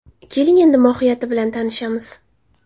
Keling, uning mohiyati bilan tanishamiz.